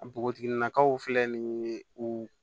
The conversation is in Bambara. Npogotiginin nakaw filɛ nin u